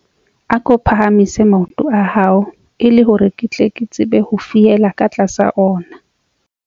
Ako phahamise maoto a hao e le hore ke tle ke tsebe ho fiela ka tlasa ona.